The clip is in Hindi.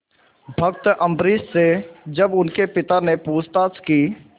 भक्त अम्बरीश से जब उनके पिता ने पूछताछ की